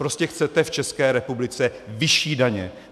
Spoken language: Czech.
Prostě chcete v České republice vyšší daně.